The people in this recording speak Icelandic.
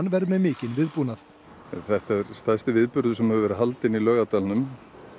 verður með mikinn viðbúnað þetta er stærsti viðburður sem hefur verið haldinn í Laugardalnum